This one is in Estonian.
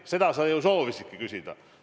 Seda sa ju soovisidki küsida.